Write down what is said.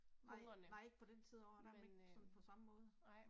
Nej nej, ikke på den tid af året der er man ikke sådan på samme måde